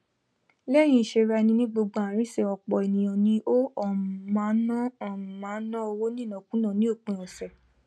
léyìn ìsèrá eni ní gbogb ààrín sè òpò ènìyàn ni ó um máá ná um máá ná owó ní ìnákùná ní òpin òsè